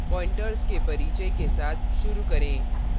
pointers के परिचय के साथ शुरू करें